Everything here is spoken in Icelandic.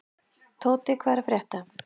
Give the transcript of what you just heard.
Tóti, hvað er að frétta?